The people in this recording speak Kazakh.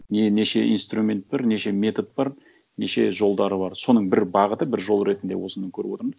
неше инструмент бар неше метод бар неше жолдары бар соның бір бағыты бір жолы ретінде осыны көріп отырмын